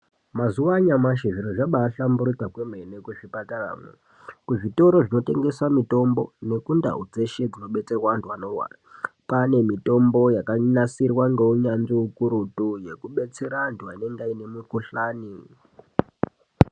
Mazuwa anyamashi, zviro zvabahlamburika kwemene kuzvipatarayo, kuzvitoro zvinotengesa mitombo nekundau dzeshe dzinodetserwa vantu vanorwara. Kwane mitombo yakanasirwa ngeunyanzvi ukurutu, yekubetsere antu anenge ane mikuhlani.